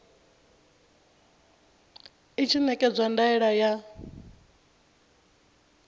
i tshi ṋekedza ndaela ya